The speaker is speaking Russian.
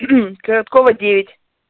короткова девять